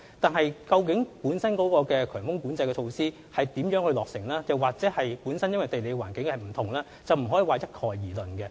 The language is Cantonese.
但是，強風交通管制措施如何落實，或會因為地理環境不同而有差別，不可一概而論。